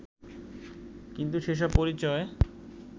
কিন্তু সেসব পরিচয়